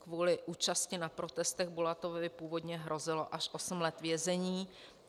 Kvůli účasti na protestech Bulatovovi původně hrozilo až osm let vězení.